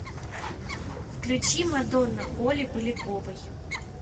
включи мадонна оли поляковой